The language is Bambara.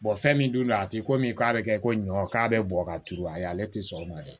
fɛn min dun don a ti ko min k'a bɛ kɛ ko ɲɔ k'a bɛ bɔ ka turu a ye ale tɛ sɔn o ma dɛ